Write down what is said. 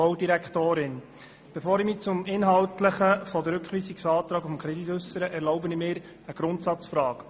Bevor ich mich zum Inhalt des Rückweisungsantrags äussere, erlaube ich mir eine Grundsatzbemerkung.